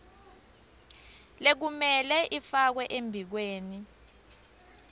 lekumele ifakwe emibikweni